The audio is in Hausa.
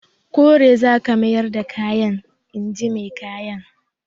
Kore za ka mayar da kayan! in ji mai kayan.